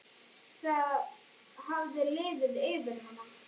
Það hafði liðið yfir hana!